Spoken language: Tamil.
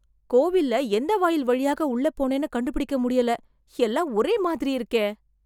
கோவில்ல எந்த வாயில் வழியாக உள்ள போனேனு கண்டு பிடிக்க முடியல எல்லாமே ஒரே மாதிரி இருக்கே